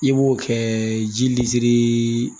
I b'o kɛ ji litiri